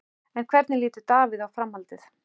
En hvernig lítur Davíð á framhaldið?